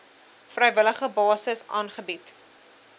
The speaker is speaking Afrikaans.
vrywillige basis aangebied